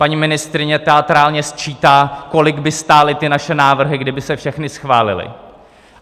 Paní ministryně teatrálně sčítá, kolik by stály ty naše návrhy, kdyby se všechny schválily.